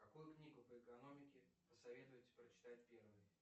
какую книгу по экономике посоветуете прочитать первой